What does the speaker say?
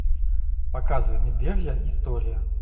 показывай медвежья история